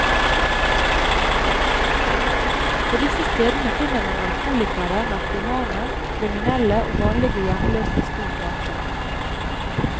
På disse stedene finner man alkoholikere, narkomane, kriminelle og vanlige hjemløse i stort antall.